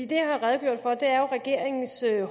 det jeg har redegjort for jo er regeringens